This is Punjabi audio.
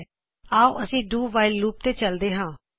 ਤਾਂ ਆਓ ਅਸੀ do while do while loop loop ਤੇ ਚਲਦੇ ਹਾਂ